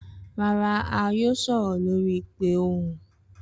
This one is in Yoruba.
Rara, a yoo sọrọ lori ipe ohun.